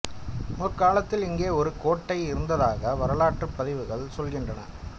முற்காலத்தில் இங்கே ஒரு கோட்டை இருந்ததாக வரலாற்று பதிவுகள் சொல்கின்றன